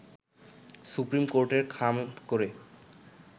supreme কোর্টের খামে করে